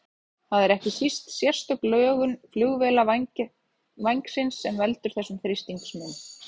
Það er ekki síst sérstök lögun flugvélarvængsins sem veldur þessum þrýstingsmun.